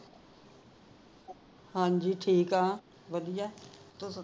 ਹਾਜੀ ਠੀਕ ਹਾ ਵਧੀਆ ਤੁਸੀ